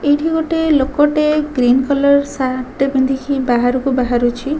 ଏଇଠି ଗୋଟେ ଲୋକ ଟେ ଗ୍ରୀନ୍ କଲର୍ ସାର୍ଟ ଟେ ପିନ୍ଧିିକି ବହାରୁକୁ ବାହାରୁଛି।